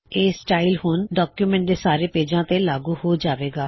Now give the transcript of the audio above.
ਇਹ ਸਟਾਇਲ ਹੁਣ ਡੌਕਯੁਮੈੱਨਟ ਦੇ ਸਾਰੇ ਪੇਜਾਂ ਤੇ ਲਾਗੂ ਹੋ ਜਾਵੇਗਾ